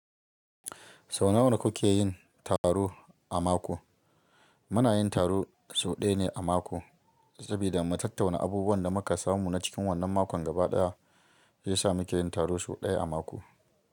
Sau nawa kuke yin taro a mako? Muna yin taro sau ɗaya ne a mako, saboda mu tattauna abubuwan da muka samu na cikin wannan makon gaba ɗaya, zai sa muke yin taro sau ɗaya a mako.